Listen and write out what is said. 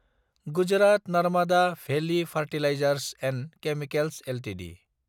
Gujarat Narmada valley fertilisers & chemicals Ltd